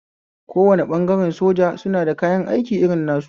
Kowane ɓangare soja suna da kayan aiki irin nasu